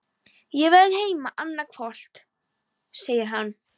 Ég verð heima annað kvöld, segir hann.